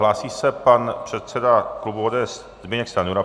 Hlásí se pan předseda klubu ODS Zbyněk Stanjura.